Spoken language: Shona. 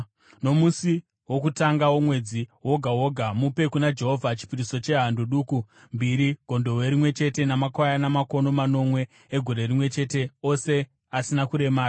“ ‘Nomusi wokutanga womwedzi woga woga, mupe kuna Jehovha chipiriso chehando duku mbiri, gondobwe rimwe chete namakwayana makono manomwe egore rimwe chete, ose asina kuremara.